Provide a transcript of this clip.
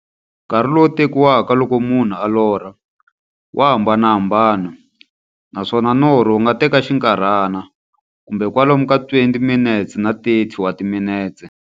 Nkarhi lowu tekiwaka loko munhu a lorha, wa hambanahambana, naswona norho wu nga teka xinkarhana, kumbe kwalomu ka 20-30 wa timinete.